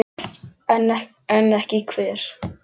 En ekki hver?